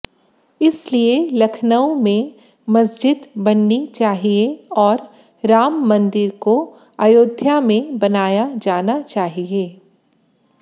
इसलिए लखनऊ में मस्जिद बननी चाहिए और राम मंदिर को अयोध्या में बनाया जाना चाहिए